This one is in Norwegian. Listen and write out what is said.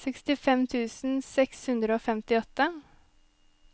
sekstifem tusen seks hundre og femtiåtte